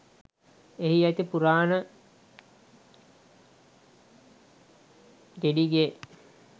එහි ඇති පුරාණ ගෙඩිගේ